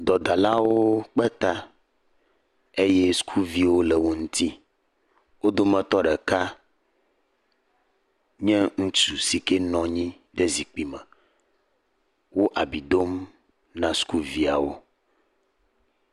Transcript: Dɔdalwo kpe ta eye sukuviwo le wo ŋuti. Wo dometɔ ɖeka nye ŋutsu si ke nɔ anyi ɖe zikpui me, wo abi dom na sukuviawo.